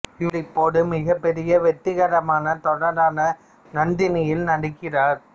இவர் இப்போது மிகப்பெரிய வெற்றிகரமான தொடரான நந்தினி யில் நடிக்கிறார்